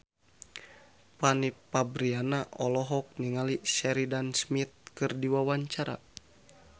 Fanny Fabriana olohok ningali Sheridan Smith keur diwawancara